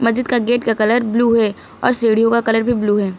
मस्जिद का गेट का कलर ब्लू है और सीढ़ियों का कलर भी ब्लू है।